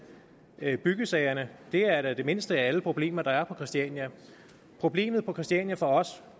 byggesagerne er da det mindste af alle de problemer der er på christiania problemet på christiania